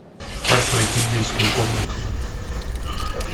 как пройти в детскую комнату